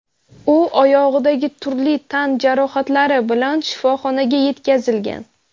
U oyog‘idagi turli tan jarohatlari bilan shifoxonaga yetkazilgan.